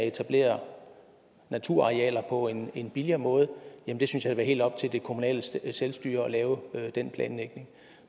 etablere naturarealer på en en billigere måde men jeg synes at det er helt op til det kommunale selvstyre at lave den planlægning